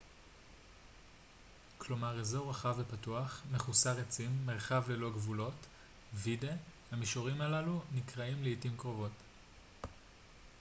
"המישורים האלו נקראים לעתים קרובות "vidde" כלומר אזור רחב ופתוח מחוסר עצים מרחב ללא גבולות.